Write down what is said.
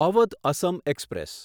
Awadh Assam express